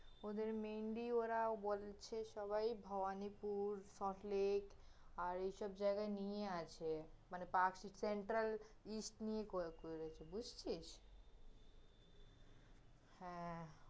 ওদের mainly ওরাও বলছে ওরা ভবানিপুর, সল্ট লেক, আর এইসব জায়গায় নিয়েই আছে, মানে করে করে রেখেছে, বুঝছিস? হ্যাঁ